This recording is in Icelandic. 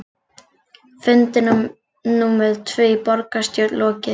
Fundi númer tvö í borgarstjórn lokið